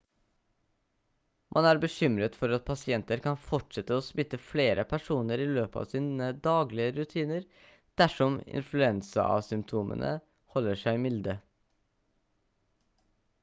man er bekymret for at pasienter kan fortsette å smitte flere personer i løpet av sine daglige rutiner dersom influensasymptomene holder seg milde